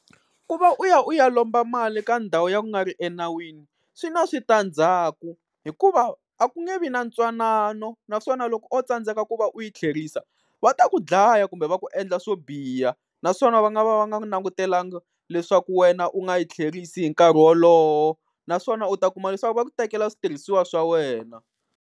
Ku va u ya u ya lomba mali ka ndhawu ya ku nga ri enawini swi na switandzhaku, hikuva a ku nge vi na ntwanano, naswona loko o tsandzeka ku va u yi tlherisa va ta ku dlaya kumbe va ku endla swo biha. Naswona va nga va va nga langutelanga leswaku wena u nga yi tlherisi hi nkarhi wolowo, naswona u ta kuma leswaku va ku tekela switirhisiwa swa wena.